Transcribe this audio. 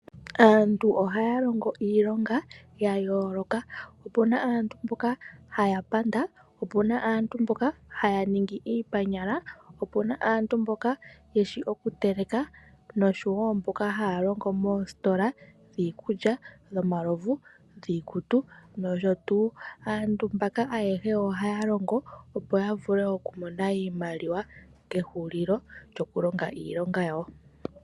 Aantu ohaya longo iilonga ya yooloka. Opu na aantu mboka haya panda, opu na aantu mboka haya ningi iipanyala, opu na aantu mboka ye shi okuteleka nosho wo mboka haya longo moositola dhiikulya, dhomalovu, dhiikutu nosho tuu. Aantu mbaka ayehe ohaya longo, opo ya vule okumona iimaliwa kehulilo lyokulonga iilonga yawo.